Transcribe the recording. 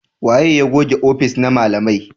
Waye ya goge ofis na malamai?